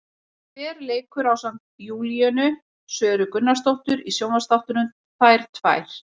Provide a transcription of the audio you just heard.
Hver leikur ásamt Júlíönu Söru Gunnarsdóttir í sjónvarpsþáttunum, Þær tvær?